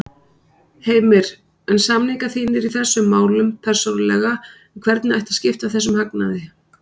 Heimir: En samningar þínir í þessum málum persónulega um hvernig ætti að skipta þessum hagnaði?